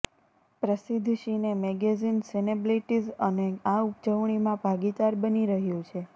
પ્રસિદ્ધ cine magazine Cineblitz પણ આ ઉજવણીમાં ભાગીદાર બની રહ્યું છે